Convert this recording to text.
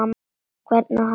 Hvernig á hann að vera?